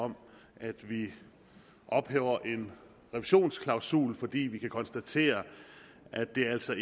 om at vi ophæver en revisionsklausul fordi vi kan konstatere at det altså